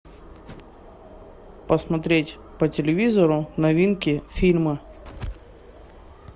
посмотреть по телевизору новинки фильма